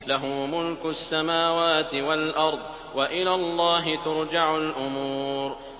لَّهُ مُلْكُ السَّمَاوَاتِ وَالْأَرْضِ ۚ وَإِلَى اللَّهِ تُرْجَعُ الْأُمُورُ